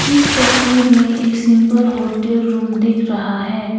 इस तस्वीर में एक सिंपल होटल रूम दिख रहा है।